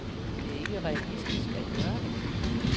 Det er ikke realistisk at gøre det.